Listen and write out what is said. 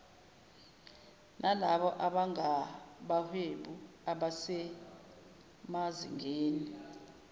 nalabo abangabahwebi abasemazingeni